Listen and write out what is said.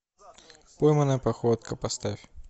пойманная походка поставь